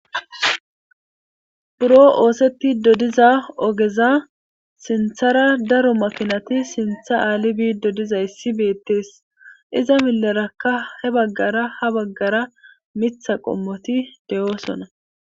buro oosetti dodiza ogeza sinthara daro makinati sintha aalibiid dodiza issi beettees iza milerakka he baggara ha baggara mitha qommoti de7oosona